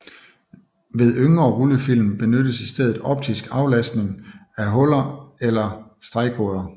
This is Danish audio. Ved yngre rullefilm benyttes i stedet optisk aftastning af huller eller stregkoder